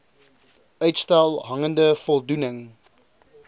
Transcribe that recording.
uitstel hangende voldoening